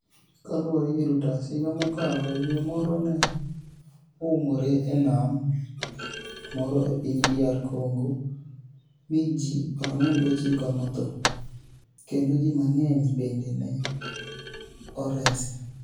Kaluwore gi Reuters, higa mokalo, yie moro ni e oumore e niam moro e piniy DR Conigo, mi ji 49 notho, kenido ji manig'eniy benide ni e oresi.